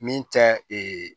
Min tɛ ee